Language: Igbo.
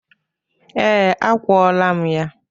Ee, akwọla m ya.